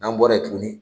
N'an bɔra yen tuguni